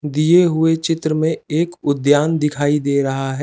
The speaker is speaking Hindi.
दिए हुए चित्र में एक उद्द्यान दिखाई दे रहा है।